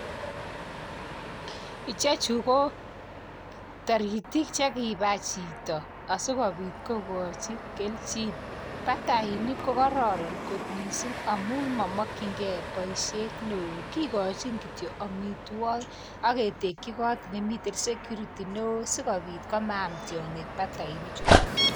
Ichechu ko toritik chekibai chito, asikobiit kokochi kelchin. Batainik ko kororon kot missing amun momokyingei boishiet newo, kikkochin kityok amitwogik. Aketekyii got nemite. security ,newoo sikobiit komaam tiongiik batainichuton.